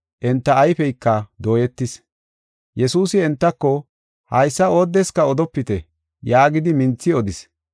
Enta ayfeyka dooyetis. Yesuusi entako, “Haysa oodeska odopite” yaagidi minthi odis.